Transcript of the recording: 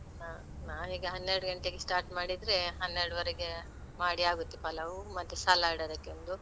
ಹ ನಾವೀಗ ಹನ್ನೆರಡು ಗಂಟೆಗೆ start ಮಾಡಿದ್ರೆ ಹನ್ನೆರಡುವರೆಗೆ ಮಾಡಿ ಆಗುತ್ತೆ. ಪಲಾವ್ ಮತ್ತೆ salad ಅದಕ್ಕೊಂದು.